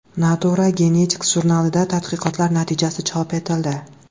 Nature Genetics jurnalida tadqiqotlar natijasi chop etildi.